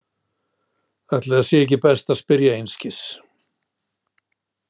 Ætli það sé ekki best að spyrja einskis.